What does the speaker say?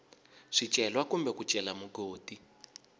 swicelwa kumbe ku cela mugodi